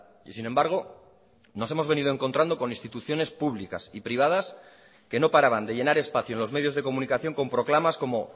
y sin embargo nos hemos venido encontrando con instituciones públicas y privadas que no paraban de llenar espacio en los medios de comunicación con proclamas como